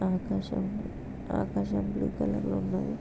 ఆకాశం ఆకాశం blue colour లో ఉన్నది.